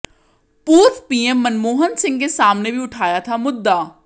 पूर्व पीएम मनमोहन सिंह के सामने भी उठाया था मुद्दा